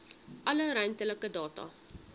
alle ruimtelike data